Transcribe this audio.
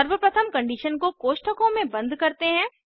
सर्वप्रथम कंडीशन को कोष्ठकों में बंद करते हैं